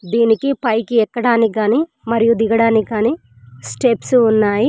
దీనికి పైకి ఎక్కడానికి గాని మరియు దిగడానికి గాని స్టెప్స్ ఉన్నాయి.